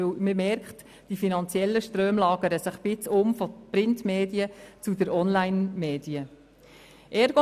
Man merkt dabei, dass sich die finanziellen Ströme ein Stück weit von den Print- zu den Onlinemedien umlagern.